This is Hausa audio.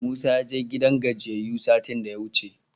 Musa ya je gidan gajiyayyu satin da yawuce.